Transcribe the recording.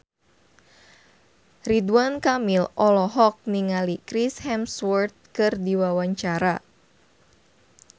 Ridwan Kamil olohok ningali Chris Hemsworth keur diwawancara